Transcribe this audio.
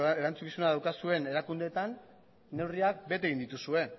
erantzukizuna daukazuen erakundeetan neurriak bete egin dituzue